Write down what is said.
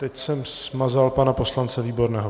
Teď jsem smazal pana poslance Výborného.